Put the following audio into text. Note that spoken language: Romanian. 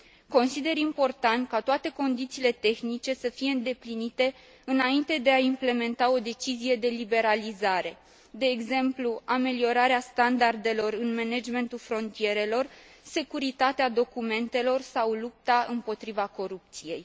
Consider important ca toate condițiile tehnice să fie îndeplinite înainte de a implementa o decizie de liberalizare de exemplu, ameliorarea standardelor în managementul frontierelor, securitatea documentelor sau lupta împotriva corupției.